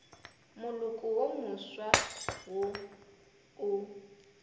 moloko wo mofsa wo o